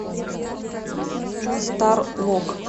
стар лок